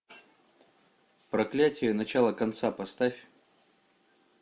проклятие начало конца поставь